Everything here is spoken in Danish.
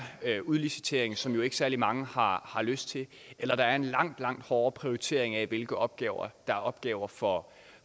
der udlicitering som jo ikke særlig mange har lyst til eller der er en langt langt hårdere prioritering af hvilke opgaver der er opgaver for